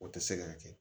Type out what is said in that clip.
O tɛ se ka kɛ